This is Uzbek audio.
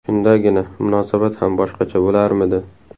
Shundagina munosabat ham boshqacha bo‘larmidi.